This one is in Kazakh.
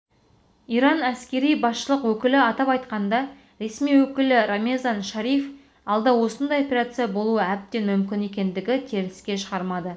иран әскери басшылық өкілі атап айтқанда ресми өкілі рамезан шариф алда осындай операция болуы әбден мүмкін екендігін теріске шығармады